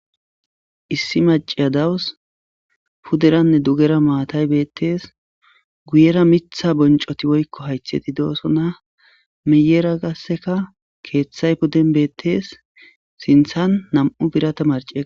Issi maciya dawus puderanne dugera maatay beettees guyera mitha boncoti woykko haytheti doosona meyera gasseka keeththay pudden beettees sinthan nam'u birata marce